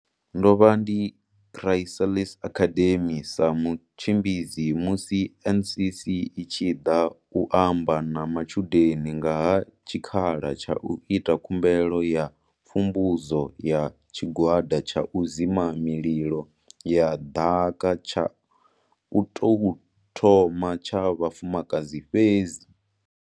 Ndo vha ndi Chrysalis Academy sa mutshimbidzi musi NCC i tshi ḓa u amba na matshudeni nga ha tshikhala tsha u ita khumbelo ya pfumbudzo ya tshigwada tsha u dzima mililo ya ḓaka tsha u tou thoma tsha vhafumakadzi fhedzi.